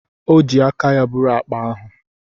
O ji aka ya buru akpa ahụ.